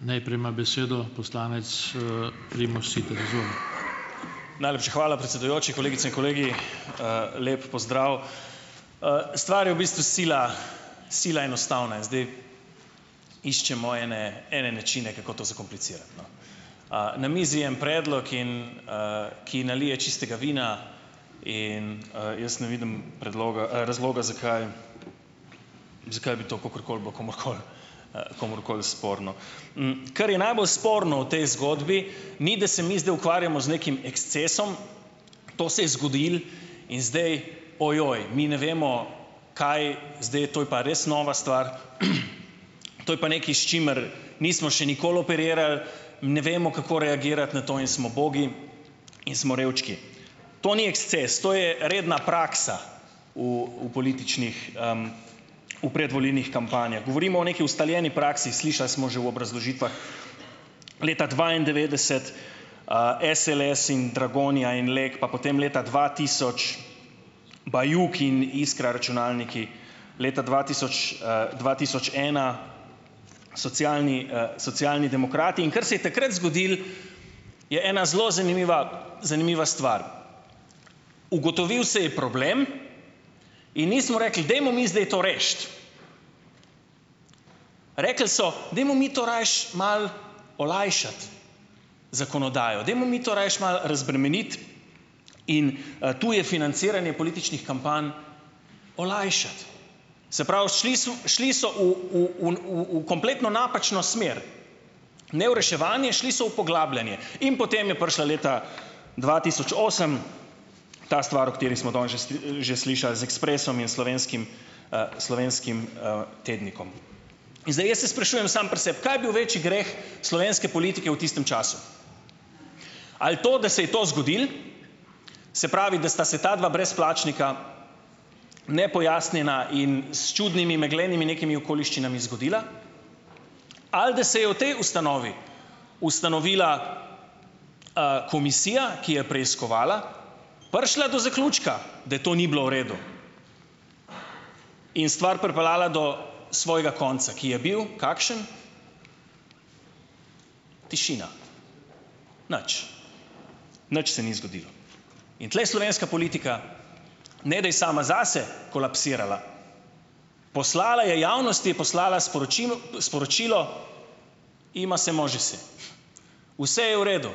Najlepša hvala, predsedujoči! Kolegice in kolegi, lep pozdrav! Stvar je v bistvu sila, sila enostavna in zdaj iščemo ene načine ene načine, kako to zakomplicirati, no. Na mizi je en predlog in, ki nalije čistega vina, in, jaz ne vidim predloga, razloga, zakaj zakaj bi to kakorkoli bilo komurkoli, komurkoli sporno. Kar je najbolj sporno v tej zgodbi, ni, da se mi zdaj ukvarjamo z nekim ekscesom. To se je zgodilo in zdaj, ojoj, mi ne vemo, kaj zdaj, to je pa res nova stvar, to je pa nekaj, s čimer nismo še nikoli operirali, ne vemo, kako reagirati na to, in smo ubogi in smo revčki. To ni eksces, to je redna praksa v, v političnih, v predvolilnih kampanjah. Govorimo o neki ustavljeni praksi, slišali smo že v obrazložitvah leta dvaindevetdeset, SLS-i in Dragonja in Lek, pa potem leta dva tisoč Bajuk in Iskra računalniki. Leta dva tisoč, dva tisoč ena Socialni, Socialni demokrati, in ker se je takrat zgodila je ena zelo zanimiva, zanimiva stvar. Ugotovil se je problem in nismo rekli, dajmo mi zdaj to rešiti. Rekli so, dajmo mi to rajši malo olajšati zakonodajo, dajmo mi to rajši malo razbremeniti in, tu je financiranje političnih kampanj olajšati. Se pravi, šli so šli so v, v oni v, v kompletno napačno smer. Ne v reševanje, šli so v poglabljanje in potem je prišla leta dva tisoč osem ta stvar, o kateri smo danes že že slišali, z Ekspresom in Slovenskim, Slovenskim, tednikom. In zdaj jaz se sprašujem sam pri sebi, kaj je bil večji greh slovenske politike v tistem času. Ali to, da se je to zgodilo, se pravi, da sta se ta dva brezplačnika nepojasnjena in s čudnimi meglenimi nekimi okoliščinami zgodila, ali da se je v tej ustanovi ustanovila, komisija, ki je preiskovala, prišla do zaključka, da to ni bilo v redu in stvar pripeljala do svojega konca, ki je bil, kakšen. Tišina. Nič. Nič se ni zgodilo. In tule je slovenska politika, ne da je sama zase kolapsirala, poslala je, javnosti je poslala sporočilo, Vse je v redu.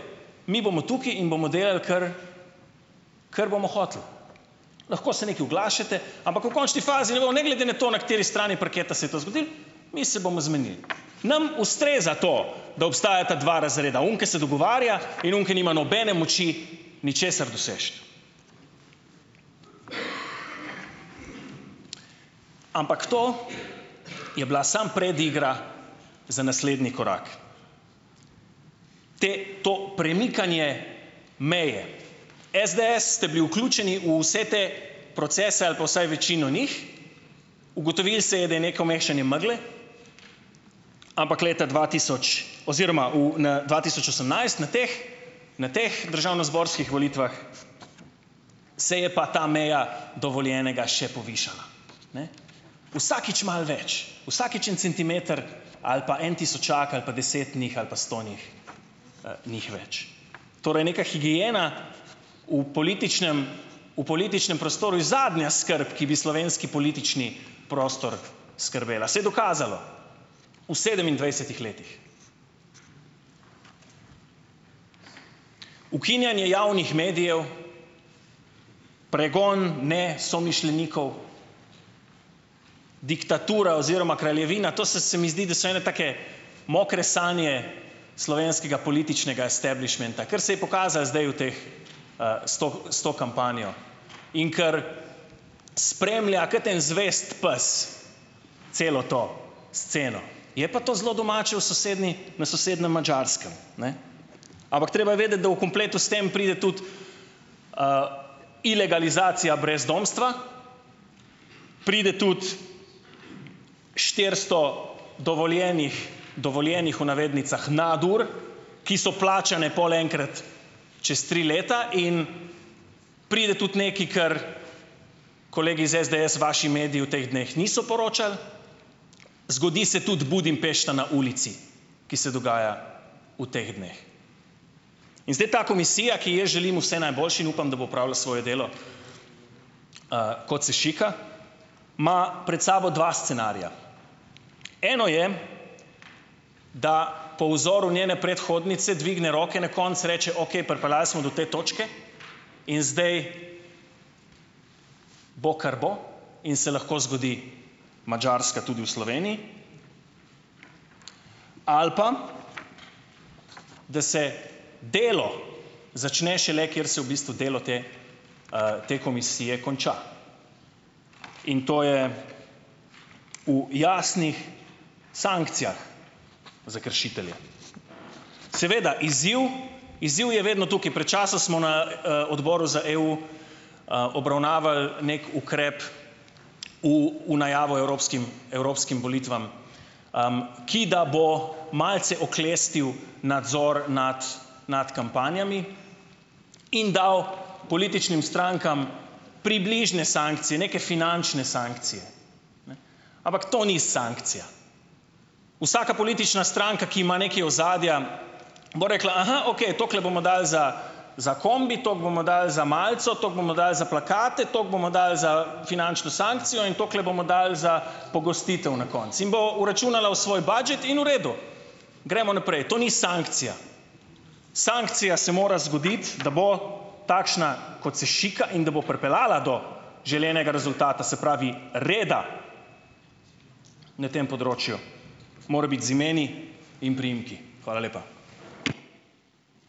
Mi bomo tukaj in bomo delali, kar, kar bomo hoteli. Lahko se nekaj oglašate, ampak v končni fazi ne bomo, ne, glede na to, na kateri strani parketa se je to zgodilo, mi se bomo zmenili. Nam ustreza to, da obstajata dva razreda, oni, ki se dogovarja, in oni, ki nima nobene moči ničesar doseči. Ampak to je bila samo predigra za naslednji korak. Te to premikanje meje, SDS ste bili vključeni v vse te procese ali pa vsaj večino njih, ugotovilo se je, da je neko mešanje megle, ampak leta dva tisoč oziroma v dva tisoč osemnajst na teh, na teh državnozborskih volitvah se je pa ta meja dovoljenega še povišala. Vsakič malo več, vsakič en centimeter ali pa en tisočak ali pa deset njih ali pa sto njih, ni jih več. Torej neka higiena v političnem, v političnem prostoru je zadnja skrb, ki bi slovenski politični prostor skrbela. Se je dokazalo v sedemindvajsetih letih. Ukinjanje javnih medijev, pregon nesomišljenikov, diktatura oziroma kraljevina, to so se mi zdi, da so ene take mokre sanje slovenskega političnega establišmenta, kar se je pokazalo zdaj v teh, s to s to kampanjo. In kar spremlja kot en zvesti pes celo to sceno, je pa to zelo domače v sosednji, na sosednjem Madžarskem, ne, ampak treba je vedeti, da v kompletu s tem pride tudi ilegalizacija brezdomstva, pride tudi štiristo dovoljenih, dovoljenih, v navednicah, nadur, ki so plačane pol enkrat čez tri leta in pride tudi nekaj kar kolegi iz SDS, vaši mediji v teh dneh niso poročali, zgodi se tudi Budimpešta na ulici, ki se dogaja v teh dneh. In zdaj ta komisija, ki ji jaz želim vse najboljše, in upam, da bo opravila svoje delo, kot se šika, ima pred sabo dva scenarija. Eno je, da po vzoru njene predhodnice dvigne roke, na koncu reče: "Okej, pripeljali smo do te točke in zdaj bo, kar bo, in se lahko zgodi Madžarska tudi v Sloveniji." Ali pa, da se delo začne šele, kjer se v bistvu delo te, te komisije konča, in to je v jasnih sankcijah za kršitelje. Seveda izziv, izziv je vedno tukaj. Pred času smo na, odboru za EU, obravnavali neki ukrep v, v najavo evropskim, evropskim volitvam, ki da bo malce oklestil nadzor nad, nad kampanjami in dal političnim strankam približne sankcije, neke finančne sankcije. Ampak to ni sankcija. Vsaka politična stranka, ki ima nekaj ozadja, bo rekla: "Aha, okej, toliko bomo dali za za kombi, toliko bomo dali za malico, toliko bomo dali za plakate, toliko bomo dali za finančno sankcijo in toliko bomo dali za pogostitev na koncu." In bo vračunala v svoj budget in v redu. Gremo naprej. To ni sankcija. Sankcija se mora zgoditi, da bo takšna, kot se šika, in da bo pripeljala do želenega rezultata, se pravi, reda ne tem področju, mora biti z imeni in priimki. Hvala lepa.